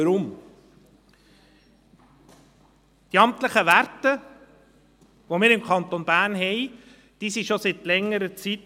Weshalb? – Die amtlichen Werte, welche wir im Kanton Bern haben, bestehen schon seit längerer Zeit.